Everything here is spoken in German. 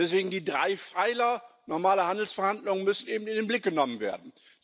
Deswegen die drei Pfeiler, normale Handelsverhandlungen müssen eben in den Blick genommen werden.